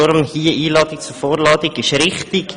Deshalb ist hier eine Einladung zur Vorladung richtig.